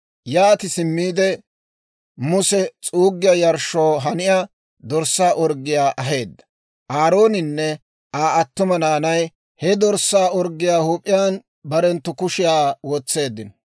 Yaati simmiide Muse s'uuggiyaa yarshshoo haniyaa dorssaa orggiyaa aheedda; Aarooninne Aa attuma naanay he dorssaa orggiyaa huup'iyaan barenttu kushiyaa wotseeddino.